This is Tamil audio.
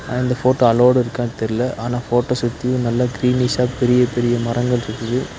ஆ இந்த ஃபோட்டோ அலோவுடிருக்கானு தெரில ஆனா ஃபோட்டோ சுத்தி நல்ல க்ரீனிஷா பெரிய பெரிய மரங்கள்ருக்குது.